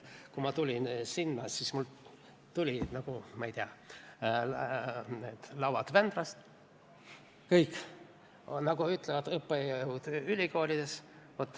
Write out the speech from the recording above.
Kui ma tulin eksamile, siis mul tuli kõik justkui Vändrast laudu, nagu ütlevad õppejõud ülikoolides.